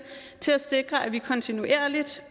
til at sikre at vi kontinuerligt